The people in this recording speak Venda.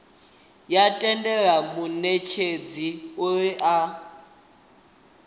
ya tendela munetshedzi uri a